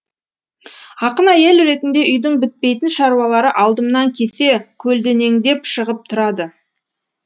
ақын әйел ретінде үйдің бітпейтін шаруалары алдымнан кесе көлденеңдеп шығып тұрады